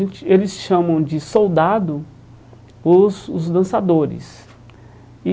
E eles chamam de soldado os os dançadores e.